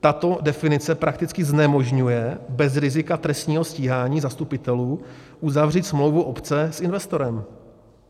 Tato definice prakticky znemožňuje bez rizika trestního stíhání zastupitelů uzavřít smlouvu obce s investorem.